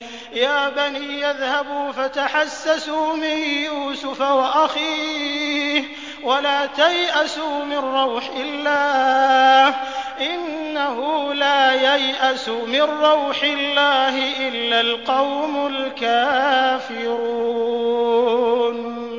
يَا بَنِيَّ اذْهَبُوا فَتَحَسَّسُوا مِن يُوسُفَ وَأَخِيهِ وَلَا تَيْأَسُوا مِن رَّوْحِ اللَّهِ ۖ إِنَّهُ لَا يَيْأَسُ مِن رَّوْحِ اللَّهِ إِلَّا الْقَوْمُ الْكَافِرُونَ